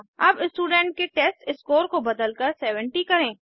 अब स्टूडेंट के टेस्टस्कोर को बदलकर 70 करें